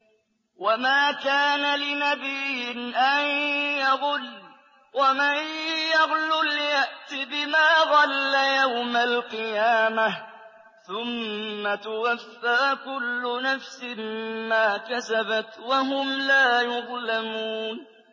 وَمَا كَانَ لِنَبِيٍّ أَن يَغُلَّ ۚ وَمَن يَغْلُلْ يَأْتِ بِمَا غَلَّ يَوْمَ الْقِيَامَةِ ۚ ثُمَّ تُوَفَّىٰ كُلُّ نَفْسٍ مَّا كَسَبَتْ وَهُمْ لَا يُظْلَمُونَ